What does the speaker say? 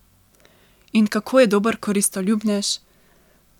In kako je dober koristoljubnež.